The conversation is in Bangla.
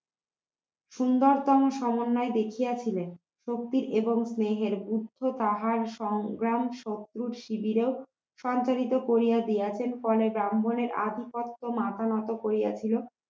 সুন্দরতম সমন্বয় দেখিয়াছিলেন শক্তির এবং স্নেহের গুপ্ত তাহার সংগ্রাম শত্রুর শিবিরেও সঞ্চারিত করিয়া দিয়েছেন ফলে ব্রাহ্মণের আধিপত্য মাথা নত করিয়াছিল